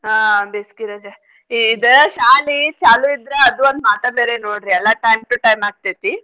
ಹಾ ಬೇಸ್ಗೆ ರಜೆ ಇದ ಶಾಲಿ ಚಾಲು ಇದ್ರ ಅದು ಒಂದ್ ಮಾತ ಬೇರೆ ನೋಡ್ರಿ ಎಲ್ಲಾ time to time ಆಗ್ತೇತಿ.